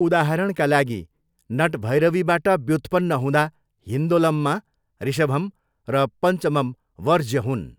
उदाहरणका लागि, नटभैरवीबाट व्युत्पन्न हुँदा हिन्दोलममा ऋषभम र पन्चमम वर्ज्य हुन्।